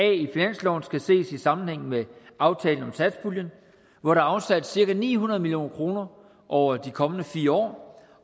i finansloven skal ses i sammenhæng med aftalen om satspuljen hvor der er afsat cirka ni hundrede million kroner over de kommende fire år